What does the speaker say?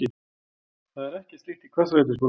Það er ekkert slíkt í Hvassaleitisskóla